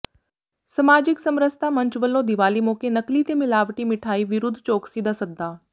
ਸਮਾਜਿਕ ਸਮਰਸਤਾ ਮੰਚ ਵਲੋਂ ਦੀਵਾਲੀ ਮੌਕੇ ਨਕਲੀ ਤੇ ਮਿਲਾਵਟੀ ਮਠਿਆਈ ਵਿਰੱੁਧ ਚੌਕਸੀ ਦਾ ਸੱਦਾ